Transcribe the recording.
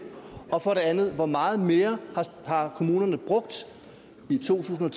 og for det andet hvor meget mere kommunerne har brugt i to tusind